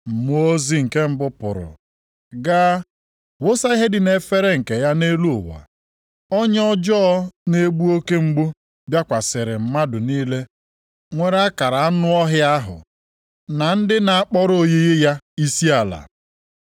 Mmụọ ozi nke mbụ pụrụ gaa wụsa ihe dị nʼefere nke ya nʼelu ụwa, ọnya ọjọọ na-egbu oke mgbu bịakwasịrị mmadụ niile nwere akara anụ ọhịa ahụ, na ndị na-akpọrọ oyiyi ya isiala.